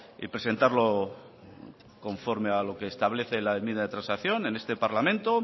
y presentarlo conforme a lo que establece la enmienda de transacción en este parlamento